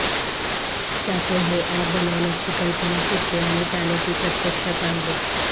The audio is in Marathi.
त्यातून हे अॅप बनवण्याची कल्पना सुचली आणि त्याने ती प्रत्यक्षात आणली